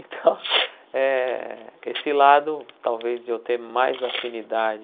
Então eh, esse lado, talvez, de eu ter mais afinidade